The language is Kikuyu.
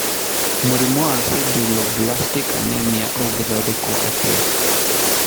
Mũrimũ wa Sideroblastic Anemia ũngĩthondekwo atĩa?